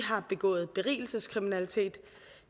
har begået berigelseskriminalitet